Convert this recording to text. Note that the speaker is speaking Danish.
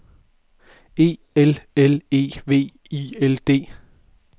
E L L E V I L D